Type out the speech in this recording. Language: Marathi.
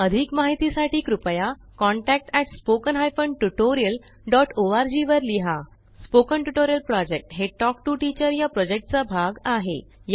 अधिक माहितीसाठी कृपया contact at spoken hyphen tutorial dot org वर लिहा स्पोकन ट्युटोरियल प्रॉजेक्ट हे टॉक टू टीचर या प्रॉजेक्टचा भाग आहे